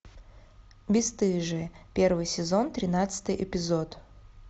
бесстыжие первый сезон тринадцатый эпизод